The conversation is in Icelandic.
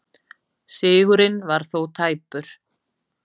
Sigurinn var þó tæpur